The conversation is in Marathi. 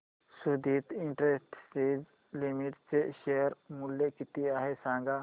सुदिति इंडस्ट्रीज लिमिटेड चे शेअर मूल्य किती आहे सांगा